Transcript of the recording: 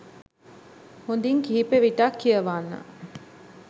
හොඳින් කිහිප විටක් කියවන්න